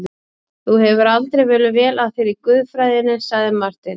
Þú hefur aldrei verið vel að þér í guðfræðinni, sagði Marteinn.